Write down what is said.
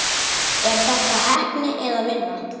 Er þetta heppni eða vinna?